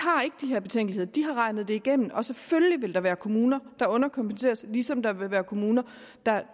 her betænkeligheder de har regnet det igennem og selvfølgelig vil der være kommuner der underkompenseres ligesom der vil være kommuner